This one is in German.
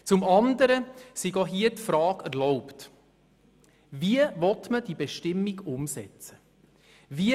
Zum andern sei auch hier die Frage erlaubt, wie diese Bestimmung umgesetzt werden soll.